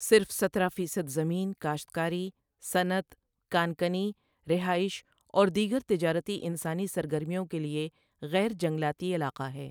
صرف سترہ فیصد زمین کاشتکاری، صنعت، کان کنی، رہائش اور دیگر تجارتی انسانی سرگرمیوں کے لیے غیر جنگلاتی علاقہ ہے۔